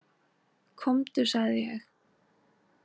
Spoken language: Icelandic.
Komdu, sagði ég.